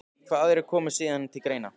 Hvaða aðrir koma síðan til greina?